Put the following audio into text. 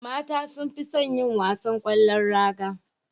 Mata sunfison yin wasan kwallon raga